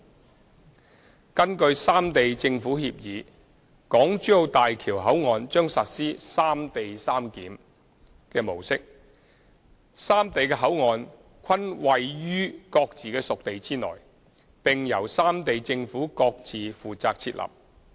三根據《三地政府協議》，大橋口岸將實施"三地三檢"模式，三地的口岸均位於各自屬地內，並由三地政府各自負責設立。